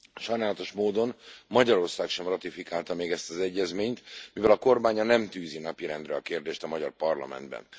Sajnálatos módon Magyarország sem ratifikálta még ezt az egyezményt, mivel a kormánya nem tűzi napirendre a kérdést a magyar parlamentben.